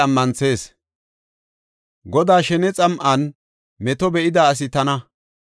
Godaa shene xam7an meto be7ida asi tana.